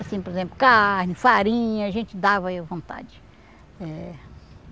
Assim, por exemplo, carne, farinha, a gente dava aí à vontade. Eh